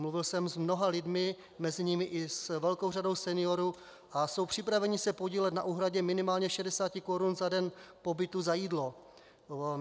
Mluvil jsem s mnoha lidmi, mezi nimi i s velkou řadou seniorů, a jsou připraveni se podílet na úhradě minimálně 60 korun za den pobytu za jídlo.